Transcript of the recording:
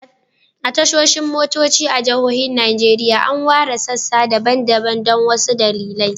A tashoshin motoci a jihohin Najeriya, an ware sassa daban-daban don wasu dalilai.